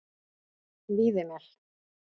Víðimel